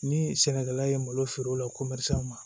Ni sɛnɛkɛla ye malo feere o la ko ma